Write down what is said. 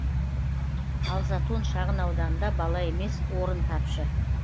ал затон шағын ауданында бала емес орын тапшы